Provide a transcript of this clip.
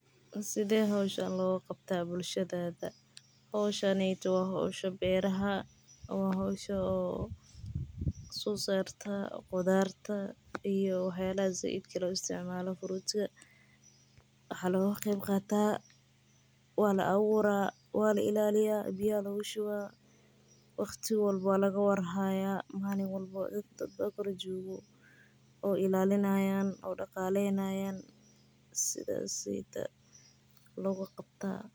Suthe hoshan loga qabta bulshaada hoshan waa hol sosarto beerta biya aya lagu shuba malin leyli dad ba kor joga marka sithas ayey muhiim u tahay aniga said ayan ujecelahay.